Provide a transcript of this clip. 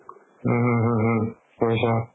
উম হু হু হু